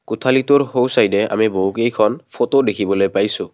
কোঠালিটোৰ সোঁচাইদে আমি বহুকেইখন ফটো দেখিবলৈ পাইছো।